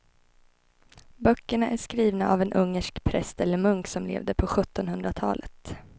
Böckerna är skrivna av en ungersk präst eller munk som levde på sjuttonhundratalet.